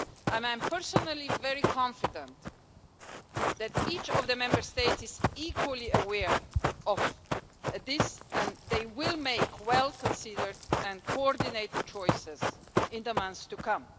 I am personally very confident that each of the Member States is equally aware of this and they will make well considered and coordinated choices in the months to come.